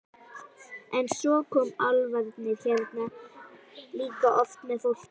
En svo koma álfarnir hérna líka oft með fólki.